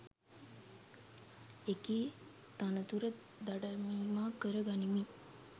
එකී තනතුර දඩමීමා කර ගනිමින්